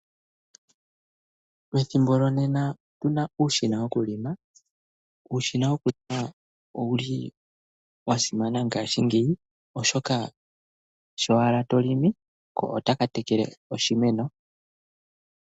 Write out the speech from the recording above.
Ethimbo lyonena okuna uushina wokulima. Uushina woku lima owuli wa simana ngashingeyi oshoka sho owala tolimi ko otaka tekele oshimeno .